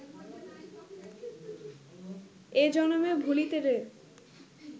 এ জনমে ভুলিতে রে